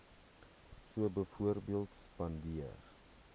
so byvoorbeeld spandeer